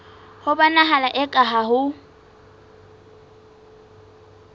ho bonahala eka ha ho